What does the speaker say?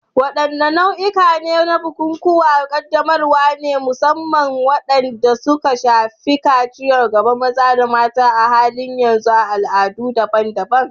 Wadanne nau'ikan bukukuwan ƙaddamarwa ne, musamman waɗanda suka shafi kaciya ga maza da mata, a halin yanzu a al'adu daban-daban?